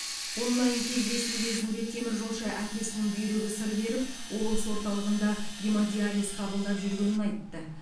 онлайн кездесу кезінде теміржолшы әкесінің бүйрегі сыр беріп облыс орталығында гемодиализ қабылдап жүргенін айтты